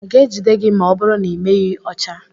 A ga-ejide gị ma ọ bụrụ na ị meghị ọcha?